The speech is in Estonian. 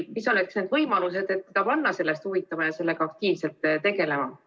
Mis oleks need võimalused, et teda panna sellest huvituma ja sellega aktiivselt tegelema?